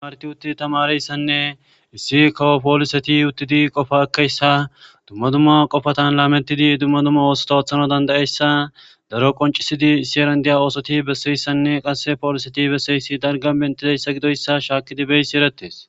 Martti utti tamaareyssanne issi kawo pooliseti uttidi qofaa ekkeyssa dumma dumma qofata laamettidi dumma dumma oosota oothanaw dandda7eyssa daro qonccisidi issi heeran diya oosoti besseyssanne qasse pooliseti besseyssi dalgga benttidayssa gidoyssa shaakkidi beysi erettees.